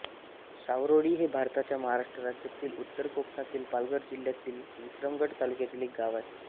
सावरोळी हे भारताच्या महाराष्ट्र राज्यातील उत्तर कोकणातील पालघर जिल्ह्यातील विक्रमगड तालुक्यातील एक गाव आहे